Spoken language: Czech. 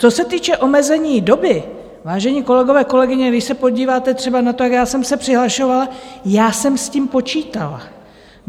Co se týče omezení doby, vážení kolegové, kolegyně, když se podíváte třeba na to, jak já jsem se přihlašovala, já jsem s tím počítala.